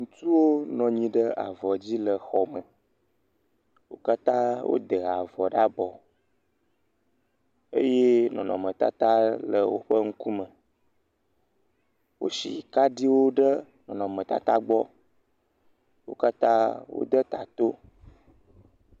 Ŋutsuwo nɔ anyi ɖe avɔ dzi le xɔ me, wo katã wode avɔ ɖe abɔ, eye nɔnɔmetata le woƒen ŋkume, wosi kaɖiwo ɖe nɔnɔmetata gbɔ, wo katã wode ta to.